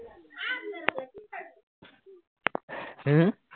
হম